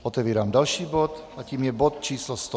Otevírám další bod a tím je bod číslo